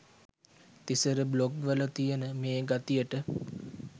Thisara blog වල තියන මේ ගතියට